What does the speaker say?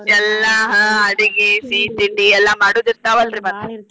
ಎಲ್ಲ ಆಹ್ ಅಡಗಿ ಸಿಹಿತಿಂಡಿ ಎಲ್ಲ ಮಾಡುದ ಇರ್ತಾವ ಅಲ್ರಿ ಮತ್ತ.